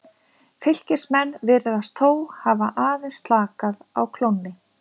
Fylkismenn virðast þó hafa aðeins slakað á klónni.